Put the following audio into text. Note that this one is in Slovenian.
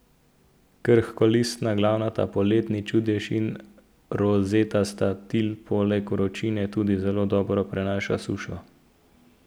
Krhkolistna glavnata poletni čudež in rozetasta till poleg vročine tudi zelo dobro prenašata sušo.